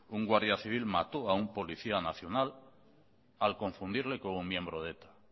un guardia civil mató a un policía nacional al confundirle como miembro de eta